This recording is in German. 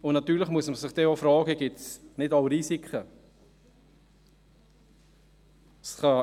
Natürlich muss man sich dann auch fragen, ob es nicht auch Risiken gibt.